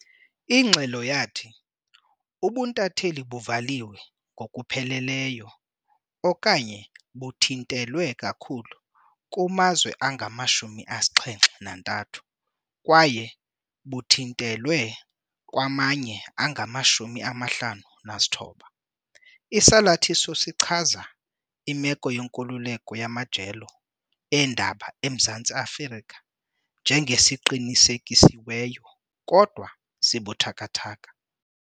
Ingxelo yathi ubuntatheli "buvaliwe ngokupheleleyo okanye buthintelwe kakhulu" kumazwe angama-73 kwaye "buthintelwe" kwamanye angama-59. Isalathiso sichaza imeko yenkululeko yamajelo eendaba eMzantsi Afrika njenge "siqinisekisiweyo kodwa sibuthathaka".